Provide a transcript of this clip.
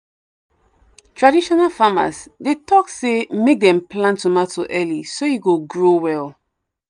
traditional farmers dey talk say make dem plant tomato early so e go grow well.